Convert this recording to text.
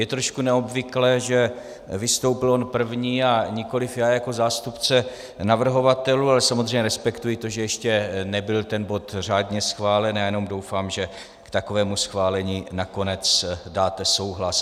Je trošku neobvyklé, že vystoupil on první a nikoliv já jako zástupce navrhovatelů, ale samozřejmě respektuji to, že ještě nebyl ten bod řádně schválen, a jenom doufám, že k takovému schválení nakonec dáte souhlas.